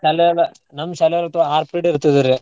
ಶಾಲ್ಯಾಗ ನಮ್ ಶ್ಯಾಲಾಗಂತೂ ಆರ್ period ಇರ್ತಿದ್ವ್ ರೀ.